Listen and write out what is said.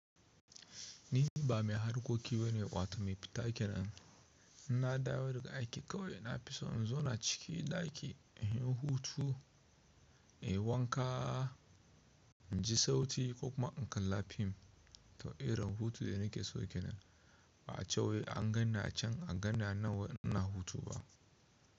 Ni ba mai harkoki bane wato mai fita aikin rana. In na dawo daga aiki kawai na fi so in zauna cikin ɗaki in yi hutu, in yi wanka, in ji sauti ko kuma in kalla fim. To irin hutu da nake so kenan a'a a ce wai an ganni a can an ganni nan wai ina hutu ba.